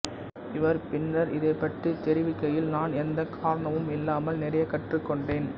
இவர் பின்னர் இதைப் பற்றி தெரிவிக்கையில் நான் எந்தக் காரணமும் இல்லாமல் நிறைய கற்றுக்கொண்டேன்